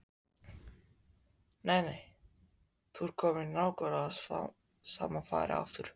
Nei, nei, þú ert kominn í nákvæmlega sama farið aftur.